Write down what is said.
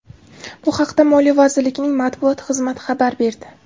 Bu haqda Moliya vazirligining matbuot xizmati xabar berdi .